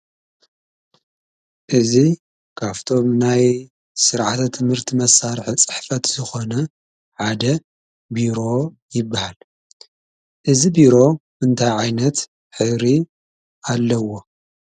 እዚ ካብእቶም ናይ ስርዓተ ትምህርቲ መሳርሒ ፅሕፈት ዝኮነ ሓደ ቢሮ ይበሃል:: እዚ ቢሮ እንታይ ዓይነት ሕብሪ ኣለዎ?